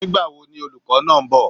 Nígbàwo ni olùkó náá nbò?